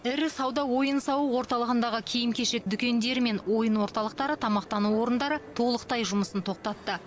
ірі сауда ойын сауық орталығындағы киім кешек дүкендері мен ойын орталықтары тамақтану орындары толықтай жұмысын тоқтатты